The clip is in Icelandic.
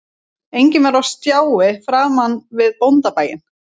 Enginn var á stjái framan við bóndabæinn